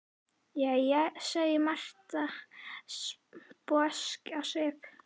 Jæja, segir Marta, sposk á svipinn.